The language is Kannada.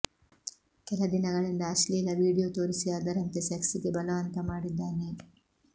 ಕೆಲ ದಿನಗಳಿಂದ ಅಶ್ಲೀಲ ವಿಡಿಯೋ ತೋರಿಸಿ ಅದರಂತೆ ಸೆಕ್ಸ್ ಗೆ ಬಲವಂತ ಮಾಡಿದ್ದಾನೆ